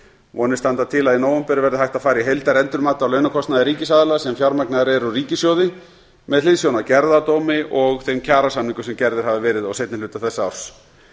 vonir standa til að í nóvember verði hægt að fara í heildarendurmat á launakostnaði ríkisaðila sem fjármagnaðir eru úr ríkissjóði með hliðsjón af gerðardómi og þeim kjarasamningum sem gerðir hafa verið á seinni hluta þessa árs